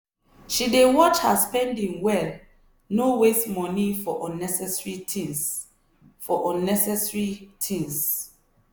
she dey watch her spending well no waste moni for unnecessary things. for unnecessary things.